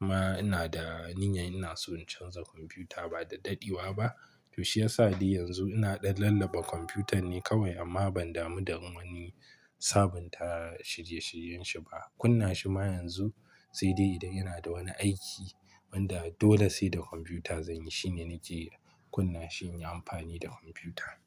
Amma ina da niyyar ina so in canza kwamfuta ba daɗaɗewa ba. To shi ya sa dai yanzu ina ɗan lallaba kwamfutan ne kawai amma ban damu da in wani sabunta shirye-shiryen shi ba. Kunna shi ma yanzu sai dai idan yana da wani aiki wanda dole sai da kwamfuta zanyi shine nake kunna shi in yi amfani da kwamfuta.